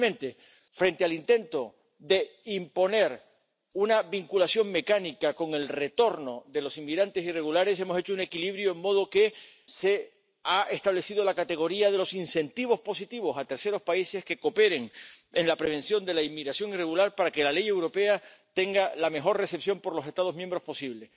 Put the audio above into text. Y, finalmente, frente al intento de imponer una vinculación mecánica con el retorno de los inmigrantes irregulares, hemos conseguido un equilibrio, de modo que se ha establecido la categoría de los incentivos positivos a terceros países que cooperen en la prevención de la inmigración irregular, para que la ley europea tenga la mejor recepción por los Estados miembros posible.